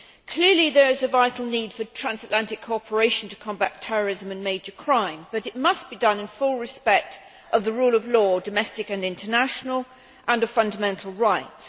Clearly there is a vital need for transatlantic cooperation to combat terrorism and major crime, but it must be done in full respect of the rule of law domestic and international and of fundamental rights.